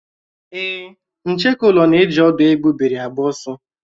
Èé, ncheke ụlọ na-eji ọ̀dú égbubị́ri agba ọsọ.